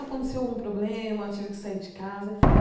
Aconteceu algum problema, tive que sair de casa.